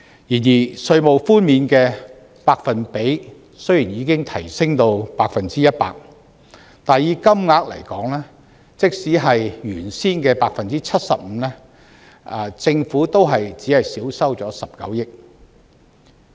然而，稅務寬免的百分比雖然已提升至 100%， 但以金額來說，即使是原先的 75%， 政府也只是少收19億元。